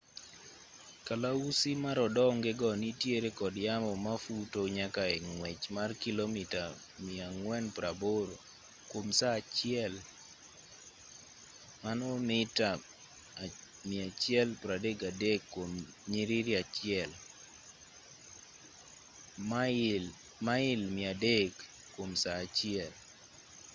kalausi marodonge go nitiere kod yamo mafuto nyaka e ng'wech mar kilomita 480 kuom saa achiel mita 133 kuom nyiriri achiel; mail 300 kuom saa achiel